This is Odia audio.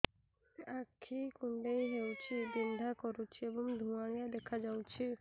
ଆଖି କୁଂଡେଇ ହେଉଛି ବିଂଧା କରୁଛି ଏବଂ ଧୁଁଆଳିଆ ଦେଖାଯାଉଛି